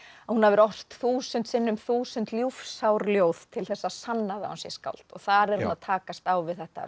að hún hafi ort þúsund sinnum þúsund ljúfsár ljóð til þess að sanna það að hún sé skáld og þar er hún að takast á við þetta